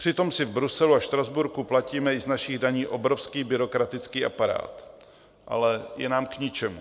Přitom si v Bruselu a Štrasburku platíme i z našich daní obrovský byrokratický aparát, ale je nám k ničemu.